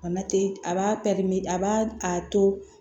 a b'a a b'a to